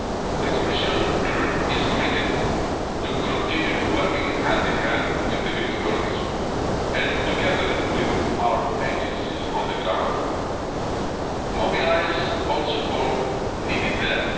done. The Commission is committed to continuing working hand in hand with the Greek authorities and together with our agencies on the ground, to mobilising all support needed